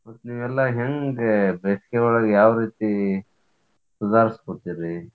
ಮತ್ತ್ ನೀವೆಲ್ಲಾ ಹೆಂಗ್ ಬೇಸಿಗೆ ಒಳಗ್ ಯಾವ ರೀತಿ ಸುದಾರ್ಸ್ಕೊತೀರಿ?